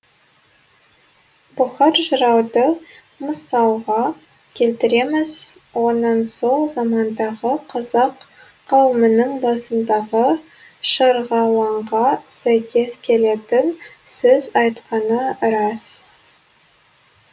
бұхар жырауды мысалға келтіреміз оның сол замандағы қазақ қауымының басындағы шырғалаңға сәйкес келетін сөз айтқаны рас